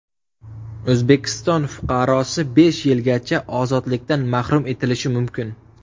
O‘zbekiston fuqarosi besh yilgacha ozodlikdan mahrum etilishi mumkin.